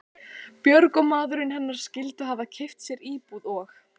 Björg og maðurinn hennar skyldu hafa keypt sér íbúð og